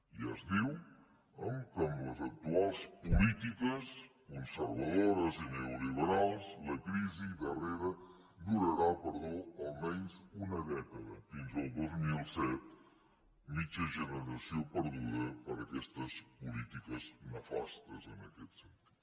ja es diu que amb les actuals polítiques conservadores i neoliberals la crisi durarà almenys una dècada fins al dos mil disset mitja generació perduda per aquestes polítiques nefastes en aquest sentit